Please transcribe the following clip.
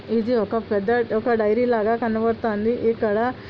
ఇది ఒక పెద్ద ఒక డైరీ లాగా కనపడుతుంది ఇక్కడ.